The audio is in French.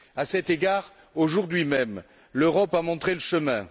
À cet égard, aujourd'hui même, l'Europe a montré le chemin.